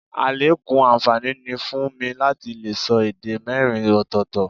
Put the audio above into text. Àlékún àǹfààní ni fún mi láti lè sọ èdè mẹ́rin ọ̀tọ̀ọ̀tọ̀